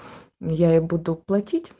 я буду поруч